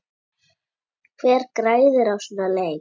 Hver græðir á svona leik?